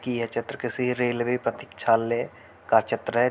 की यह चित्र किसी रेलवे प्रतीक्षालय का चित्र है।